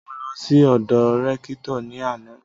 Mo lọ sí ọ́dọ Rẹ́kítọ̀ ní àná